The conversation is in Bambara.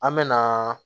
An me na